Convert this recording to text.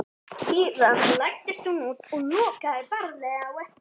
Síðan læddist hann út og lokaði varlega á eftir sér.